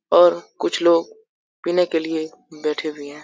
और कुछ लोग पीने के लिए बैठे हुए है।